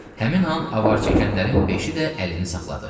Həmin an avar çəkənlərin beşi də əlini saxladı.